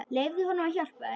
Leyfðu honum að hjálpa þér.